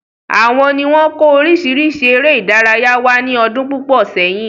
Àwọn ni wọn kò orisirisi ère ìdárayá wá ní ọdún púpọ̀ sẹ́yìn.